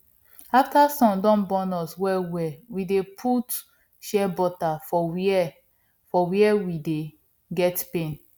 after sun don burn us wellwell we dey put shea butter for where for where we dey get pain